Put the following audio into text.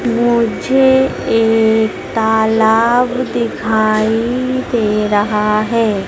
मुझे एक तालाब दिखाई दे रहा है।